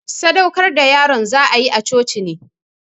Sadaukar da yaron za'ayi a coci ne.